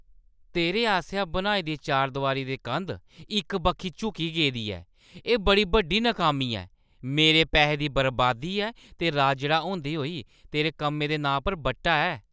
तेरे आसेआ बनाई दी चारदोआरी दी कंध इक बक्खी झुकी गेदी ऐ । एह् बड़ी बड्डी नाकामी ऐ । मेरे पैहे दी बर्बादी ऐ ते राजड़ा होंदे होई तेरे कम्मै दे नांऽ पर बट्टा ऐ ।